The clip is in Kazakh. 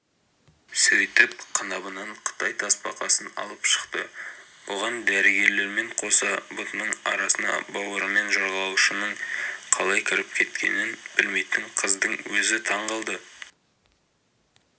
сөйтіп қынабынан қытай тасбақасын алып шықты бұған дәрігерлермен қоса бұтының арасына бауырымен жорғалаушының қалай кіріп кеткенін білмейтін қыздың өзі таң қалды